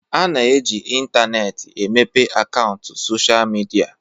A na-eji intaneetị emepe akaụntụ sochịa midia.